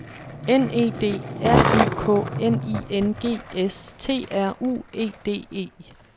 N E D R Y K N I N G S T R U E D E